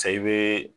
Sa i bɛ